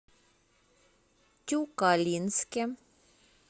тюкалинске